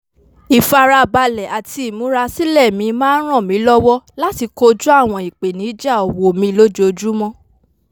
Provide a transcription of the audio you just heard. ìfarabalẹ̀ àti ìmúrasílẹ̀ mi máa ń ràn mí lọ́wọ́ láti kojú àwọn ìpèníjà òwò mi lójoojúmọ́